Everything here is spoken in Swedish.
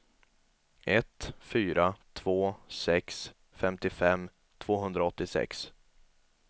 ett fyra två sex femtiofem tvåhundraåttiosex